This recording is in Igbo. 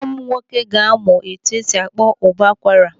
Nwa m nwoke ga-amụ etu esi akpọ ụbọ akwara.